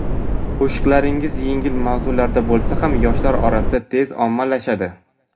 Qo‘shiqlaringiz yengil mavzularda bo‘lsa ham yoshlar orasida tez ommalashadi.